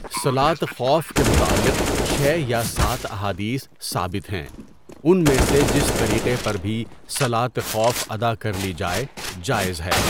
صلاۃ خوف کے متعلق چھ یا سات احادیث ثابت ہیں ان میں سے جس طریقہ پر بھی صلاۃ خوف ادا کر لی جائے جائز ہے.